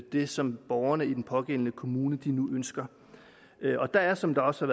det som borgerne i den pågældende kommune ønsker der er som også